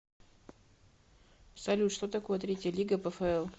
салют что такое третья лига пфл